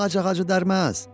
Ağac ağacı dərməz.